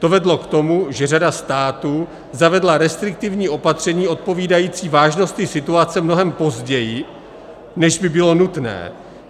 To vedlo k tomu, že řada států zavedla restriktivní opatření odpovídající vážnosti situace mnohem později, než by bylo nutné.